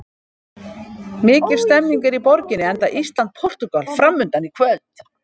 Mikil stemning er í borginni enda Ísland- Portúgal framundan í kvöld.